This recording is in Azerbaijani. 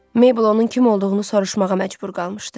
Mabel onun kim olduğunu soruşmağa məcbur qalmışdı.